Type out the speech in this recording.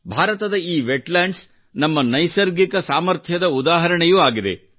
ಭಾರತದ ಈ ವೆಟ್ಲ್ಯಾಂಡ್ಸ್ ನಮ್ಮ ನೈಸರ್ಗಿಕ ಸಾಮರ್ಥ್ಯದ ಉದಾಹರಣೆಯೂ ಆಗಿದೆ